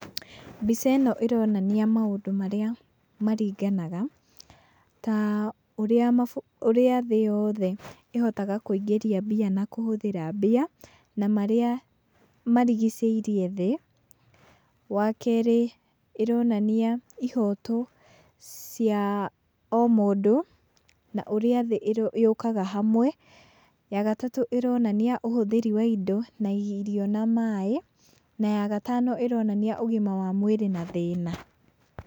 Mbica ĩno ĩronania maũndũ marĩa maringanaga, ta ũrĩa ũrĩa thĩ yothe ĩhotaga kwĩingĩria mbia na kũhũthĩra mbia, na marĩa marigicĩirie thĩ. Wa kerĩ, ĩronania ihoto cia o mũndũ, na ũrĩa thĩ yũkaga hamwe. Ya gatatũ, ĩronania ũhũthĩri wa indo na irio na maĩ na ya gatano, ĩronania ũgima wa mwĩrĩ na thĩna.